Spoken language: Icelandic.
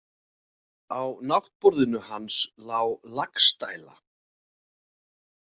Á náttborðinu hans lá Laxdæla.